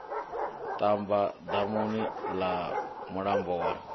ṱamba damuni ḽa mulambo wa